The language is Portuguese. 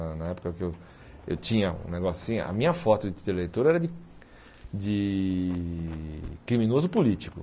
Na época que eu eu tinha um negócinho. A minha foto de título de eleitor era de de criminoso político.